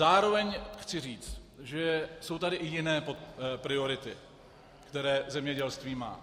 Zároveň chci říct, že jsou tady i jiné priority, které zemědělství má.